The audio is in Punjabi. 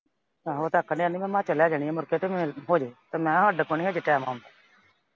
ਆਹੋ ਤੱਕ ਲਿਆਂਦੀ। ਮੈਂ ਤੇ ਲੈ ਜਾਣੀ ਮੁੜ ਕੇ ਤੇ ਮੈਂ ਕਿਹਾ ਸਾਡੇ ਕੋਲ ਨਈਂ ਹਜੇ time ਹੁਣ।